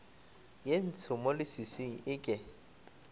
ye ntsho mo leswiswing eke